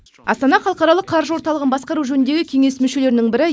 астана халықаралық қаржы орталығын басқару жөніндегі кеңес мүшелерінің бірі